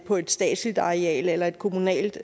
på et statsligt areal eller et kommunalt